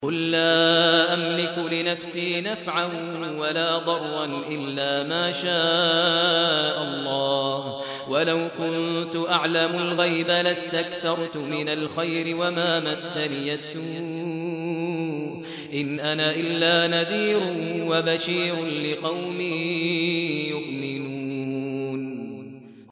قُل لَّا أَمْلِكُ لِنَفْسِي نَفْعًا وَلَا ضَرًّا إِلَّا مَا شَاءَ اللَّهُ ۚ وَلَوْ كُنتُ أَعْلَمُ الْغَيْبَ لَاسْتَكْثَرْتُ مِنَ الْخَيْرِ وَمَا مَسَّنِيَ السُّوءُ ۚ إِنْ أَنَا إِلَّا نَذِيرٌ وَبَشِيرٌ لِّقَوْمٍ يُؤْمِنُونَ